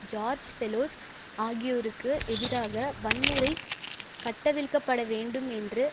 George பெலோஸ் ஆகியோருக்கு எதிராக வன்முறை கட்டவிழ்க்கப்பட வேண்டும் என்று